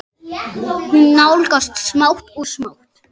Þú lýgur því